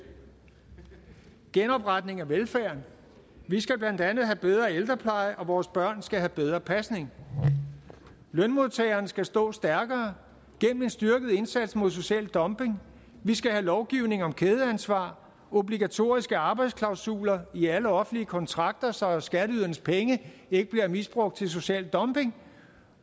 genopretning af velfærden vi skal blandt andet have bedre ældrepleje og vores børn skal have bedre pasning lønmodtageren skal stå stærkere gennem en styrket indsats mod social dumping vi skal have lovgivning om kædeansvar og obligatoriske arbejdsklausuler i alle offentlige kontrakter så skatteydernes penge ikke bliver misbrugt til social dumping